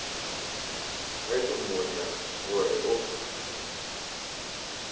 ge ke mmotša gore o